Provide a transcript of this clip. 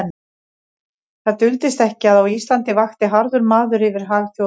Það duldist ekki, að á Íslandi vakti harður maður yfir hag Þjóðverja.